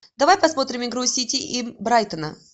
давай посмотрим игру сити и брайтона